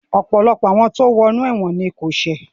Ọ̀pọ̀lọpọ̀ tó wo inú ẹ̀wọ̀n ni kò ṣẹ̀